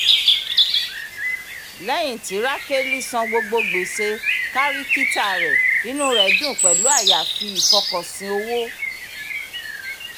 léyìn tí rákélí san gbogbo gbèsè kárìkítà rẹ inú rẹ dùn pẹ̀lú àyàfi ìfọkànsìn owó